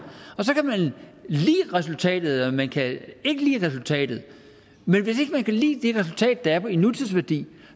og så kan man lide resultatet eller man kan ikke lide resultatet men hvis ikke man kan lide det resultat der er i nutidsværdi